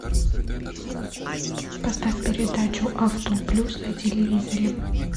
поставь передачу авто плюс на телевизоре